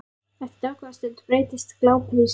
Eftir dágóða stund breytist glápið í störu.